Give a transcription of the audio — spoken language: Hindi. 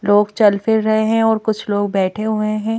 लोग चल फिर रहे हैं और कुछ लोग बैठे हुए हैं।